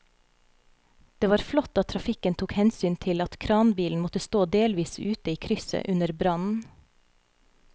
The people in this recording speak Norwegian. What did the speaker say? Det var flott at trafikken tok hensyn til at kranbilen måtte stå delvis ute i krysset under brannen.